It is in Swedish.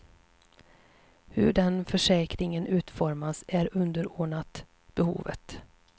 Hur den förstärkningen utformas är underordnat behovet.